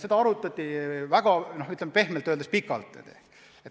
Seda arutati pehmelt öeldes ikka väga pikalt.